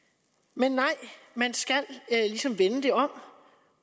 men nej man skal ligesom vende det om